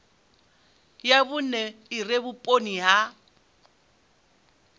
ya vhune ire vhuponi ha